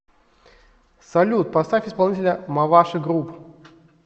салют поставь исполнителя маваши груп